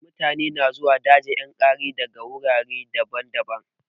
Mutane na zuwa dajin yankari daga wurare daban-daban.